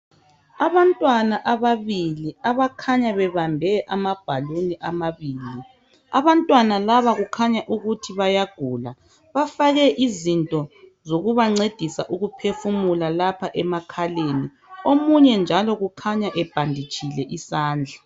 Abantwana ababili abakhanya bebambe ama"balloon"amabili abantwana laba kukhanya ukuthi bayagula bafake izinto zokubancedisa ukuphefumula lapha emakhaleni omunye njalo kukhanya ebhanditshile isandla.